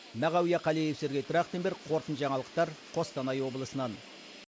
мағауия қалиев сергей трахтенберг қорытынды жаңалықтар қостанай облысынан